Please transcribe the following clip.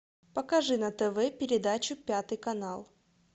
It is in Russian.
покажи на тв передачу пятый канал